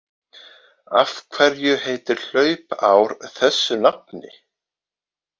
Af hverju heitir hlaupár þessu nafni?